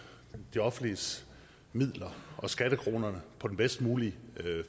de offentlige midler og skattekronerne på den bedst mulige